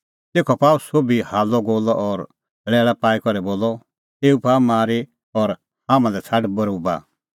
तेखअ पाअ सोभी हाल्लअगोल्लअ और लैल़ा पाई करै बोलअ एऊ पाआ मारी और हाम्हां लै छ़ाड बरोबा